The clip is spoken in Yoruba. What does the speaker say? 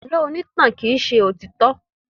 Àlọ́ onítàn kì í ṣe òtítọ́.